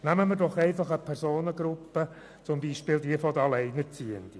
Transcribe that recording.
Nehmen wir zum Beispiel die Personengruppe der Alleinerziehenden.